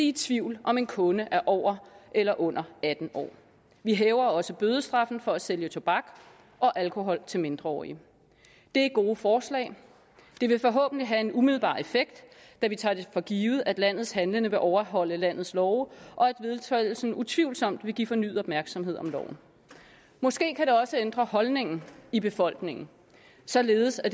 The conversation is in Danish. i tvivl om en kunde er over eller under atten år vi hæver også bødestraffen for at sælge tobak og alkohol til mindreårige det er gode forslag det vil forhåbentlig have en umiddelbar effekt da vi tager det for givet at landets handlende vil overholde landets love og at vedtagelsen utvivlsomt vil give fornyet opmærksomhed om loven måske kan det også ændre holdningen i befolkningen således at